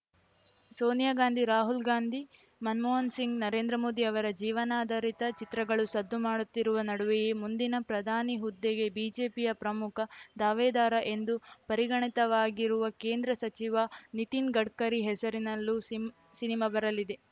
ಸೋನಿಯಾ ಗಾಂಧಿ ರಾಹುಲ್‌ ಗಾಂಧಿ ಮನಮೋಹನ ಸಿಂಗ್‌ ನರೇಂದ್ರ ಮೋದಿ ಅವರ ಜೀವನಾಧರಿತ ಚಿತ್ರಗಳು ಸದ್ದು ಮಾಡುತ್ತಿರುವ ನಡುವೆಯೇ ಮುಂದಿನ ಪ್ರಧಾನಿ ಹುದ್ದೆಗೆ ಬಿಜೆಪಿಯ ಪ್ರಮುಖ ದಾವೇದಾರ ಎಂದು ಪರಿಗಣಿತವಾಗಿರುವ ಕೇಂದ್ರ ಸಚಿವ ನಿತಿನ್‌ ಗಡ್ಕರಿ ಹೆಸರಿನಲ್ಲೂ ಸಿಮ್ ಸಿನಿಮಾ ಬರಲಿದೆ